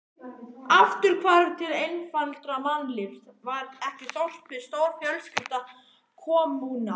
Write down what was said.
Afturhvarf til einfaldara mannlífs, var ekki þorpið stórfjölskylda, kommúna?